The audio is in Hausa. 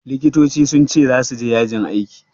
Likitoci sun ce zasu je yajin aiki.